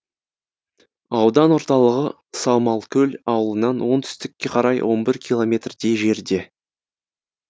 аудан орталығы саумалкөл ауылынан оңтүстікке қарай он бір километрдей жерде